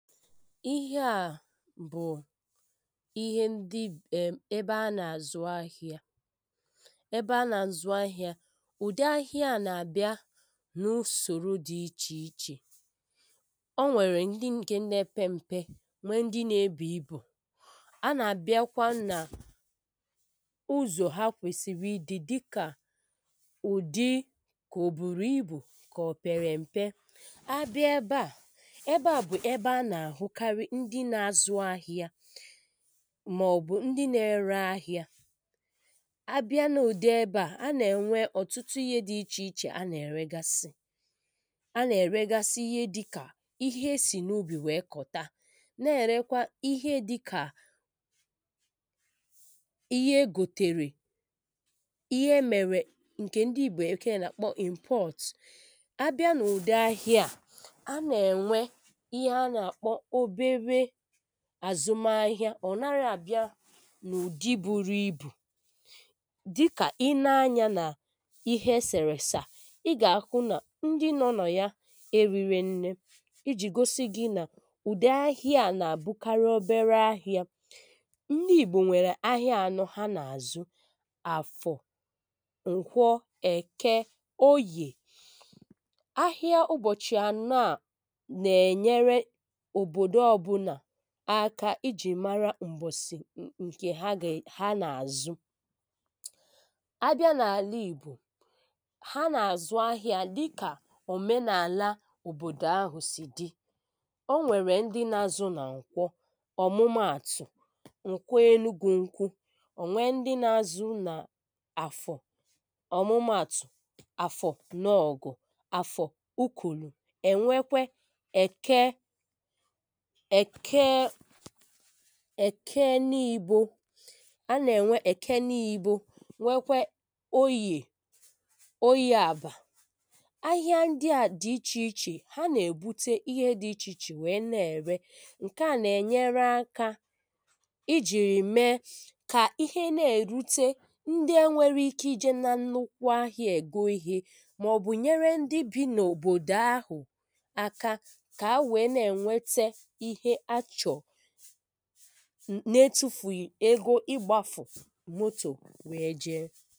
ihé à bù̩ íhé ń̙dɪ́ ̙ ébé a nà zú̦ áhi̦ā ébé á nà à zú̦ āhī̦à ù̦dī̦ āhī̦ā à nà: bi̦a núsòrū dī īchèīchè ó wɛ̀rɛ̀ n̙̄dī̦ ǹ̙ké nā ɛ̀pɛ̄m̙̄pɛ̄ wé̦ ń̙dɪ́ nē bù̦ ī̦bù̦ á nà bí̦akwá nà ú̦zò̦ há kwèsìrì í dī dī̦kà ù̦dī kò ò bùrù íbù kò̦ pè̦rè̦ m̀̀pɛ̄ á bí̦a ébé à ébé à bù̦ éb á nà hú̦n kárí ń̙di̦ nā è zū̦ āhī̦ā mà ò̦ bù̦ ń̙dí̦ nè rē áhi̦ā á bɪ́a nà ú̦dì̦ ébé à á nà è nwē ò̦tú̦tú̦ īhē dī íchèíchè á n è régásí̦ á nè régásí íhé dī̦kà íhé é sì nà óbì wě kò̦tā n è rēkwā íhé dī̦kà íhé é gòtèrè í̦hé̦ ɛ́ mɛ̀rɛ̀ ǹ̙kɛ̀ ń̙dí̦ Bě̦ké̦è̦ nà k͡pɔ́ ì̦mpó̦t á bɪ́á nà ù̦dì̦ āhī̦ā à n è nwē Íhé há nà: k͡pō̦ óbéré àzū̦ m̄ āhī̦ā ò̦ nārā à bī̦ā nà ù̦dɪ̄ bū̦rū̦ ī̦bù̦ dí̦kà í̦ né ányā nà íhé̦ é̦ sè̦rè̦ sà í̦ gà à hū̦n nà ń̙dí̦ nō̦nò̦ yā é rị̄rẹ̄ n̙̄nē í jì gósí gị̄ nà u̙dī̙ áhí̙à à nà àbū̙kwā óbéré áhí̙ā ń̙dí̙ Ìg͡bò ŋ͡mwè áhī̙ā ànō̙ há nà:zū̙ àfò̙ ǹkwō̙ è̙kē̙ óyè áhɪ́á ú̙bò̙chì̙ ànō̙ à nà è nyē̙rē̙ òbòdò ó̙bū̙nà áká í jì mārā m̙̀bò̙sì̙ ǹ̙kè há gà è há nà zū̙ há bí̙á n àlà Ìg͡bò há nà àzū̙ áhī̙ā dí̙kà òménà àlà òbòdò āhʊ̃̀n sɪ̀ dɪ̄ ó nwè̙rè̙ ń̙dɪ́ nā zū̙ nà ǹkwō̙ ò̙mù̙mù̙ àtù̙ ǹkʷū énú ú̙gwū̙ n̙̄kwū̙ ò nwɛ̀ ń̙dí̙ nā āzú̙rú̙ nà àfò̙ ò̙mù̙mù̙ àtù̙ àfò̙ nō̙ ò̙gò̙ àfò̙ ú̙kʷù̙lù̙ è̙ nwē̙kwē̙ è̙kē̙ è̙kē̙ è̙kē̙ ní:bō á nà è ŋ͡mwē ɛ̀kɛ̄ níībō nwé̙kwé̙ óyè óyē àbà áhɪ́á ń̙dɪ́ à dì íchèíchè há nà è búté íhé dī íchèíchè wě nà è̙ rē̙ ǹké â n è nyé̙ré̙ ákā í̙ jì̙rì̙ mɛ̄ kà íhé nà èrūtē ńdɪ́ é̙ nwɛ̄rɛ̄ īkē í jɛ̄ nà ńnú̙kʷu̙ áhīā è gō íhē̙ mò̙bù̙ nyéré ńdí̙ bī̙ nòbòdò áhù̙n áká ka nwe:wété íhé há chò̙ nà é tū̙fù̙ ghɪ̀ ēgō ɪ́ g͡bāfù̙ mótò wě jē